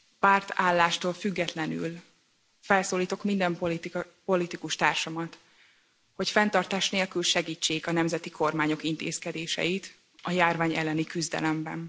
Pártállástól függetlenül felszólítom minden politikustársamat, hogy fenntartás nélkül segítsék a nemzeti kormányok intézkedéseit, a járvány elleni küzdelemben.